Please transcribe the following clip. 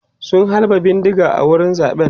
sun halba bindiga a wurin zaɓen